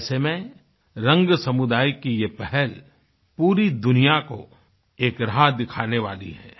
ऐसे में रंग समुदाय की ये पहल पूरी दुनिया को एक राह दिखाने वाली है